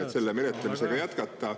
… et selle menetlemisega jätkata.